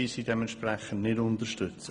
Diesen werden wir unterstützen.